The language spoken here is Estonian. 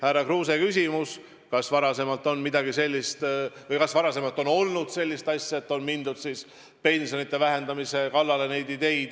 Härra Kruuse küsis, kas varasemalt on olnud sellist asja, et on mindud pensionite vähendamise peale.